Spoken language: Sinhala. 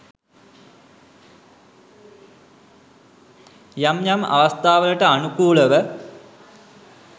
යම් යම් අවස්ථාවලට අනුකූලව